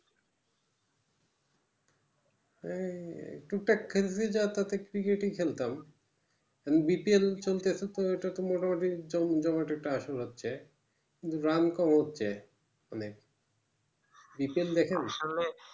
এই টুক টাক খেলতে যাওয়া তাতে cricket ই খেলতাম BPL চলতে চলতে ওটা তো মোটা মোটি তো জমি জমাট একটা আসর হচ্ছে run কম হচ্ছে আসলে BPL দেখাননি